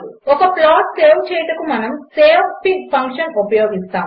ఒక plot save చేయుటకు మనము savefig ఫంక్షన్ ఉపయోగిస్తాము